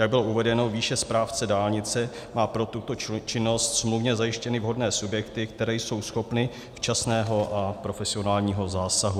Jak bylo uvedeno výše, správce dálnice má pro tuto činnost smluvně zajištěny vhodné subjekty, které jsou schopny včasného a profesionálního zásahu.